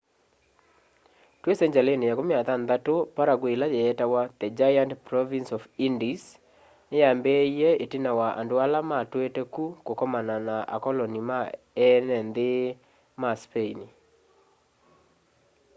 twi sengyalini ya 16 paraguay ila yeetawa the giant province of the indies ni yaambiie itina wa andũ ala matuite ku kũkomana na akoloni ma eene nthi ma spain